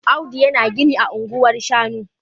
Audu yana gini ah anguwan shanu